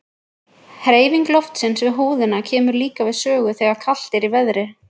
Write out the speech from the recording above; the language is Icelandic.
Hreyfing loftsins við húðina kemur líka við sögu þegar kalt er í veðri.